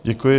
Děkuji.